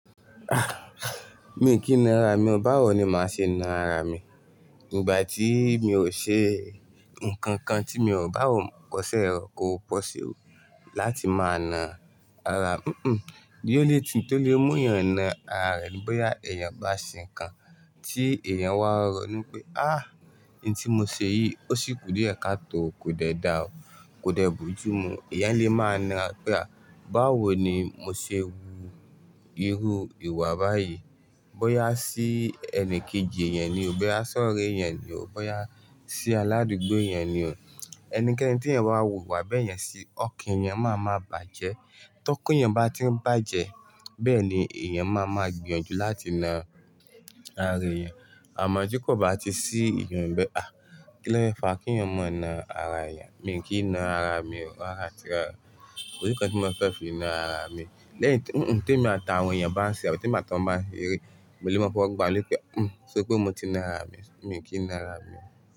Ah! Mi kì í na ara mi, báwo ni màá ṣe na ara mi? Ìgbà tí mi ò ṣe nǹkan kan tí mi ò bá wò pọ̀sẹ́ rọ̀ kó pọ̀sẹ́ ò láti máa na ara mi. Hmm, the only thing tó lè mú èèyàn na ara rẹ̀ ní bóyá èèyàn bá ṣe nǹkan tí èèyàn wá rọ̀nu pé "á, ohun tí mo ṣe yìí ó sì kù díẹ̀ ká tó, kò dẹ̀ dà o, kò dẹ̀ bojú mu." Èèyàn lè máa na pé ah! Báwo ni mo ṣe wu irú ìwà báyìí? Bóyá sí ẹni kejì èyàn ni o, bóyá sọ́ré èyàn ni o, bóyá sí aládùgbò èyàn ni o. Ẹnikẹ́ni tí èèyàn bá wù wà bẹ́yẹn sí, ọ̀kan èèyàn máa ma bàjẹ́. Tókan èèyàn bá ti ń bàjẹ́, bẹ́ẹ̀ ni èèyàn máa ma gbìyànjú láti na ara èyàn. Àmọ́ tí kò bá ti sí ìyẹn níbẹ̀, à, kí ló fẹ́ fa kí èèyàn ma na ara èyàn? Mi kì n na ara mi o, rárá àti rárá o. Kò sí nǹkan tí mo fẹ́ fi na ara mi. Lẹ́yìn tí, hín, ti èmi àti àwọn èèyàn bá ń ṣe tàbí ní ìgbà tí wọn bá ń ṣeré, mo lè máa fọ́wo le pé "hì, ṣé orí pé mo ti na ara mi?" Mi kì í na ara mi.